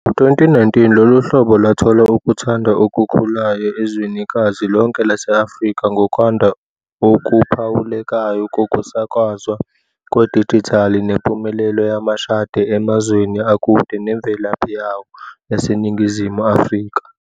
Ngo-2019, lolu hlobo lwathola ukuthandwa okukhulayo ezwenikazi lonke lase-Afrika ngokwanda okuphawulekayo kokusakazwa kwedijithali nempumelelo yamashadi emazweni akude nemvelaphi yawo yaseNingizimu Afrika.